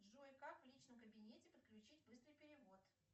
джой как в личном кабинете подключить быстрый перевод